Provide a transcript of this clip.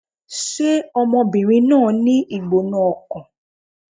Ṣé ọmọbìnrin náà ń ní ìgbóná-ọkàn?